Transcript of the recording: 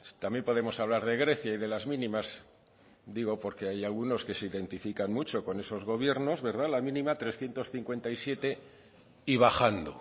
también podemos hablar de grecia y de las mínimas digo porque hay algunos que se identifican mucho con esos gobiernos la mínima trescientos cincuenta y siete y bajando